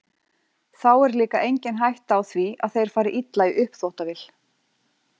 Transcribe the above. Þá er líka engin hætta á því að þeir fari illa í uppþvottavél.